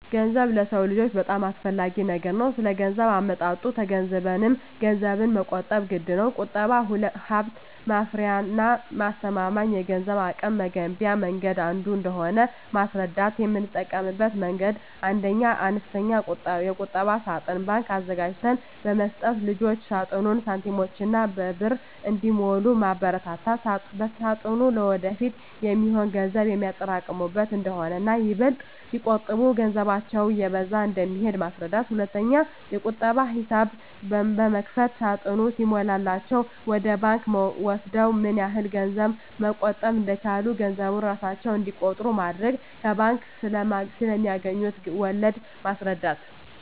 ገንዘብ ለሰው ልጆች በጣም አስፈላጊ ነገር ነው ስለገንዘብ አመጣጡ ተገንዝበንም ገንዘብን መቆጠብ ግድነው። ቁጠባ ሀብት ማፍሪያና አስተማማኝ የገንዘብ አቅም መገንቢያ መንገድ አንዱ እንደሆነ ማስረዳት: የምጠቀምበት መንገድ 1ኛ, አነስተኛ የቁጠባ ሳጥን (ባንክ) አዘጋጅተን በመስጠት ልጆች ሳጥኑን በሳንቲሞችና በብር እንዲሞሉ ማበርታት ሳጥኑ ለወደፊት የሚሆን ገንዘብ የሚያጠራቅሙበት እንደሆነና ይበልጥ ሲቆጥቡ ገንዘባቸው እየበዛ እንደሚሄድ ማስረዳት። 2ኛ, የቁጠባ ሂሳብ በመክፈት ሳጥኑ ሲሞላላቸው ወደ ባንክ ወስደው ምን ያህል ገንዘብ መቆጠብ እንደቻሉ ገንዘቡን እራሳቸው እንዲቆጥሩ ማድረግ። ከባንክ ስለማገኙት ወለድ ማስረዳት።